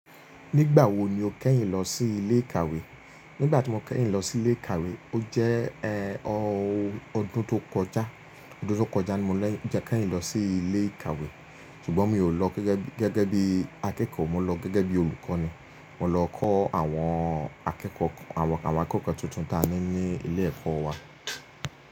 Nígbà wo ni o kẹ́yìn lọ sí ilé ìkàwé? Nígbà tí mo kẹ́yìn lọ sí ilé ìkàwé, ó jẹ́ ẹ ọ ọdún tó kọjá. Ọdún tó kọjá ni mo jẹ́ kẹ́yìn lọ sí ilé ìkàwé. Ṣùgbọ́n mi ò lọ gẹ́gẹ́ gẹ́gẹ́ bí akẹ́kọ̀ọ́, mo lọ gẹ́gẹ́ bí olùkọ́ ni. Mo lọ kọ́ àwọn akẹ́kọ̀ọ́ àwọn akẹ́kọ̀ọ́ tuntun taani ní ilé ẹ̀kọ́ wa.